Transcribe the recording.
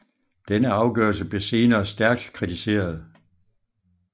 Denne afgørelse blev senere stærkt kritiseret